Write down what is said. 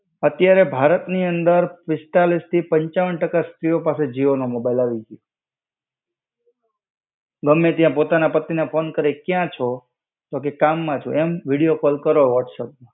અત્યારે ભારતની અંદર પિસ્તાલીસથી પંચાવન ટકા સ્ત્રિઓ પાસે જીઓનો મોબાઇલ આવી ગયું ગમે ત્યાં પોતાના પતિને ફોન કરે ક્યાં છો? તો કે કામમાં છું. એમ, વિડિયો કોલ કરો વોટ્સએપમાં